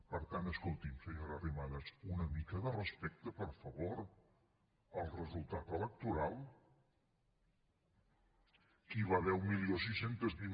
per tant escolti’m senyora arrimadas una mica de respecte per favor al resultat electoral que hi va haver setze vint